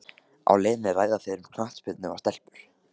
Á leiðinni ræða þeir um knattspyrnu og stelpur.